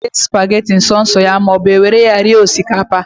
E nwere ike iri spageti so so ya maọbụ, e were ya rie osikapa